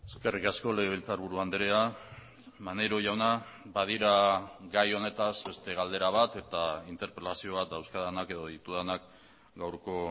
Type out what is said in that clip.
eskerrik asko legebiltzarburu andrea maneiro jauna badira gai honetaz beste galdera bat eta interpelazio bat dauzkadanak edo ditudanak gaurko